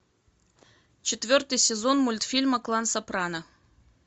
четвертый сезон мультфильма клан сопрано